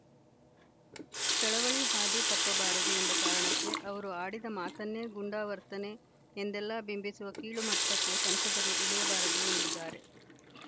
ಚಳವಳಿ ಹಾದಿ ತಪ್ಪಬಾರದು ಎಂಬ ಕಾರಣಕ್ಕೆ ಅವರು ಆಡಿದ ಮಾತನ್ನೇ ಗುಂಡಾವರ್ತನೆ ಎಂದೆಲ್ಲಾ ಬಿಂಬಿಸುವ ಕೀಳು ಮಟ್ಟಕ್ಕೆ ಸಂಸದರು ಇಳಿಯಬಾರದು ಎಂದಿದ್ದಾರೆ